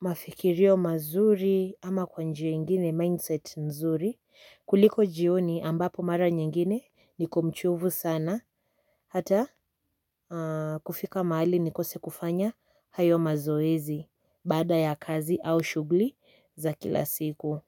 mafikirio mazuri ama kwa njia ingine mindset nzuri kuliko jioni ambapo mara nyingine niko mchovu sana hata kufika mahali nikose kufanya hayo mazoezi baada ya kazi au shughuli za kila siku.